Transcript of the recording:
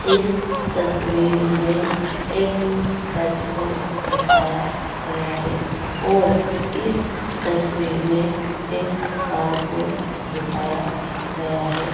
इस तस्वीर में एक बस को दिखाया गया है और इस तस्वीर में एक कार को दिखाया गया है।